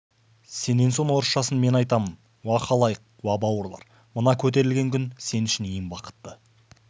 сенен соң орысшасын мен айтамын уа халайық уа бауырлар мына көтерілген күн сен үшін ең бақытты